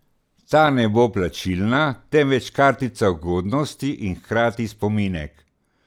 Ta ne bo plačilna, temveč kartica ugodnosti in hkrati spominek.